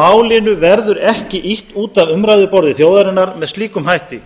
málinu verður ekki ýtt út af umræðuborði þjóðarinnar með slíkum hætti